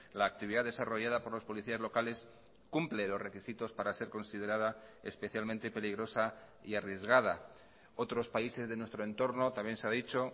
la actividad desarrollada por los policías locales cumple los requisitos para ser considerada especialmente peligrosa y arriesgada otros países de nuestro en torno también se ha dicho